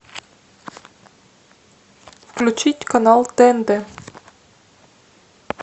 включить канал тнт